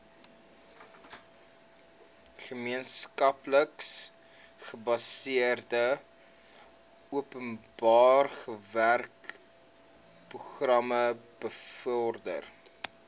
gemeenskapsgebaseerde openbarewerkeprogram bevorder